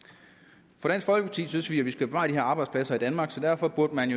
for i dansk folkeparti synes vi at vi skal bevare de her arbejdspladser i danmark så derfor burde man